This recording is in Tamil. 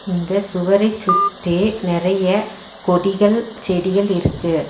இந்த சுவரைச் சுத்தி நெறைய கொடிகள் செடிகள் இருக்கு.